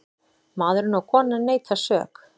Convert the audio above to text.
Maðurinn og konan neita sök.